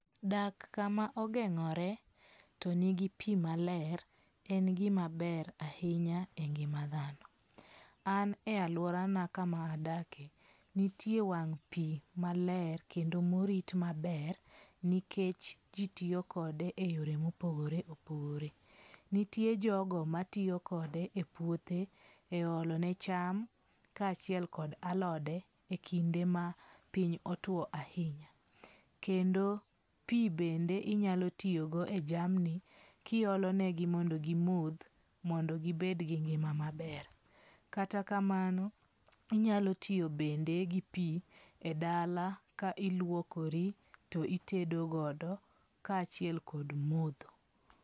Daka kama ogeng'ore to nigi pi maler en gimaber ahinya engima dhano. An e aluora na kama adake nitie wang' pi maler kendo morit maber nikech ji tiyokode e yore mopogore opogore. Nitie jogo matiyokode e puothe, e olone cham ka achiel kod alode e kinde ma piny otuo ahinya. Kendo pi bende inyalo tiyogo e jamni kiolonegi mondo gimodh mondo gibed gi ngima maber. Kata kamano inyalo tiyobende gi pi e dala ka iluokori to itedogodo ka achiel kod modho.